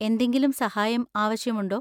എന്തെങ്കിലും സഹായം ആവശ്യമുണ്ടോ?